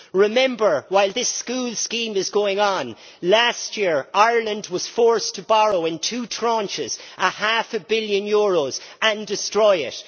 Remember, while this school scheme is going on, last year Ireland was forced to borrow, in two tranches, half a billion euros and then destroy it.